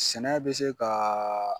Sɛnɛ be se kaaa